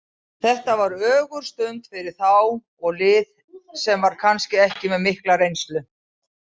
Þetta var ögurstund fyrir þá og lið sem er kannski ekki með mikla reynslu.